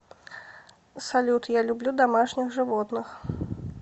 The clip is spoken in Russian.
салют я люблю домашних животных